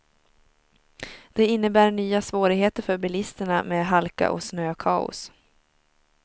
Det innebär nya svårigheter för bilisterna med halka och snökaos.